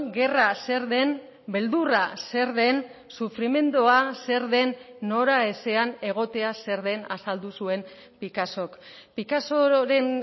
gerra zer den beldurra zer den sufrimendua zer den noraezean egotea zer den azaldu zuen picassok picassoren